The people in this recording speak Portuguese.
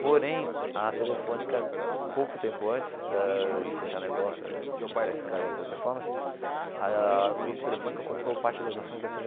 Porém, a Telefônica, pouco tempo antes da de fechar negócio entre a Sky e a Teleperformance, a grupo Telefônica comprou parte das ações da Tê Vê.